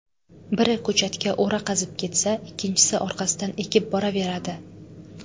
Biri ko‘chatga o‘ra qazib ketsa, ikkinchisi orqasidan ekib boraveradi.